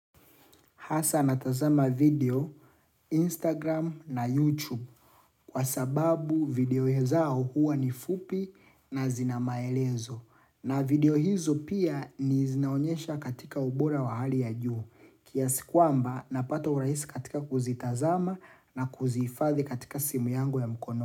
Hasa natazama video, Instagram na YouTube kwa sababu video zao huwa ni fupi na zinamaelezo. Na video hizo pia ni zinaonyesha katika ubora wa hali ya juu. Kiasikuamba napato urahisi katika kuzitazama na kuzifathi katika simu yangu ya mkono.